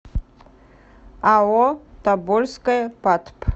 ао тобольское патп